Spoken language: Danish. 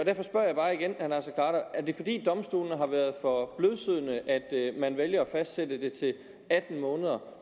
det fordi domstolene har været for blødsødne at man vælger at fastsætte det til atten måneder